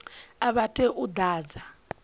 a vha tei u ḓadza